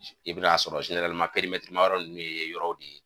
I bi n'a sɔrɔ ma yɔrɔ nunnu ye yɔrɔw de ye.